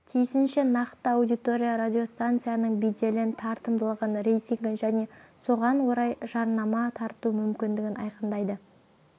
тиісінше нақты аудитория радиостанцияның беделін тартымдылығын рейтингін және соған орай жарнама тарту мүмкіндігін айқындайды